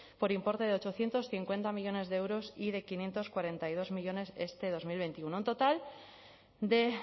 por importe de ochocientos cincuenta millónes de euros y de quinientos cuarenta y dos millónes este dos mil veintiuno un total de